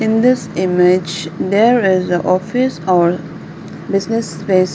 in this image there is a office or business space.